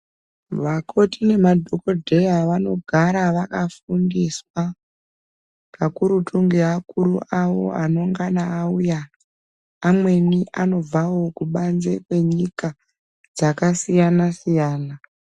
Vakoti nema dhokodheya vanogara vakafundiswa kakurutu ngeakuru awo anongana auya , amweni anobvawo kubadze kwenyika dzakasiyana siyana .